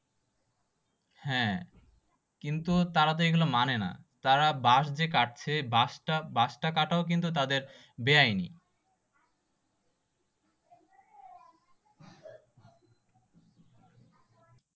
হ্যাঁ কিন্তু তারা তো এইগুলা মানেনা তারা বাশ যে কাটছে বাশ টা কাটাও কিন্তু তাদের বেআইনি